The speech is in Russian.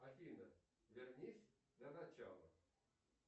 афина вернись на начало